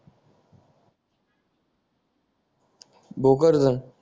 बोकड धर